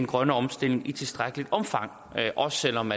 grønne omstilling i tilstrækkeligt omfang også selv om